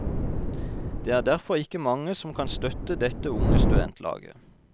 Det er derfor ikke mange som kan støtte dette unge studentlaget.